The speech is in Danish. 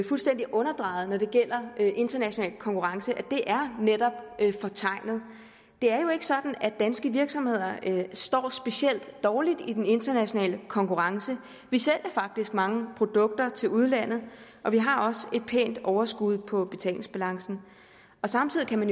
fuldstændig underdrejet når det gælder international konkurrence netop er fortegnet det er jo ikke sådan at danske virksomheder står specielt dårligt i den internationale konkurrence vi sælger faktisk mange produkter til udlandet og vi har også et pænt overskud på betalingsbalancen samtidig kan man